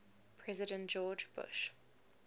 president george bush